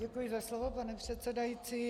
Děkuji za slovo, pane předsedající.